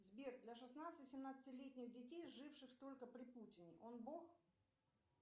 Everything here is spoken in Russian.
сбер для шестнадцати семнадцати летних детей живших только при путине он бог